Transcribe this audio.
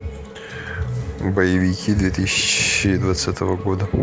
боевики две тысячи двадцатого года